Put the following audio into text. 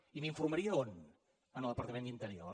i m’informaria on en el departament d’interior